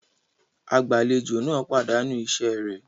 Agbàlejò náà pàdánù iṣẹ rẹ̀